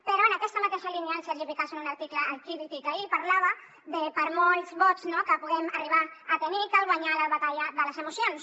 però en aquesta mateixa línia el sergi picazo en un article al crític ahir parlava del fet que per molts vots no que puguem arribar a tenir cal guanyar la batalla de les emocions